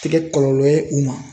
Te kɛ kɔlɔlɔ ye u ma